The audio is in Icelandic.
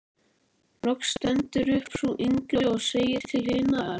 Loks stendur upp sú yngri og segir til hinnar